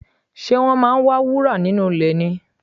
Ṣe wọ́n ń wá wúrà nínú ilẹ̀ ni?